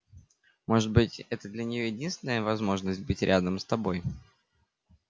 может быть это для неё единственная возможность быть рядом с тобой